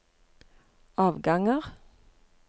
avganger